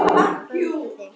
Hvað vantar þig?